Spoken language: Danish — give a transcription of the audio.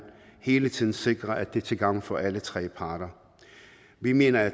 hele tiden sikre at det er til gavn for alle tre parter vi mener at